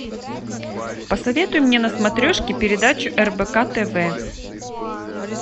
посоветуй мне на смотрешке передачу рбк тв